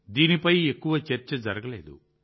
దీనిపై ఎక్కువగా చర్చ జరగలేదు